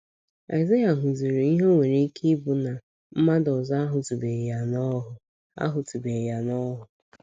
Aịzaya hụziri ihe o nwere ike ịbụ na mmadụ ọzọ ahụtụbeghị ya n’ọhụụ ahụtụbeghị ya n’ọhụụ.